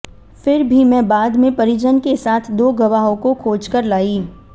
फिर भी मैं बाद में परिजन के साथ दो गवाहों को खोजकर लाई